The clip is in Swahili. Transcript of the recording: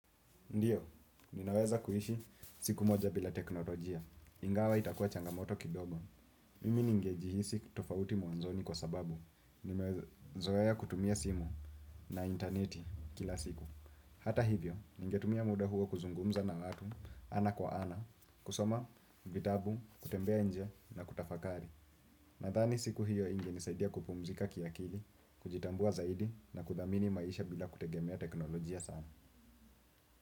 Ndiyo, ninaweza kuhishi siku moja bila teknolojia. Ingawa itakuwa changamoto kidogo. Mimi ningejihisi tofauti mwanzoni kwa sababu. Nimeweza zoea kutumia simu na interneti kila siku. Hata hivyo, ningetumia muda huo kuzungumza na watu, ana kwa ana, kusoma, vitabu, kutembea nje na kutafakari. Nathani siku hiyo ingenisaidia kupumzika kiakili, kujitambua zaidi na kuthamini maisha bila kutegemea teknolojia sana.